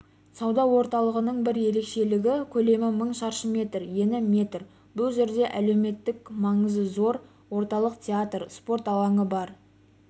сауда орталығының бір ерекшелігі көлемі мың шаршы метр ені метр бұл жерде әлеуметтік маңызы зор орталық театр спорт алаңы бар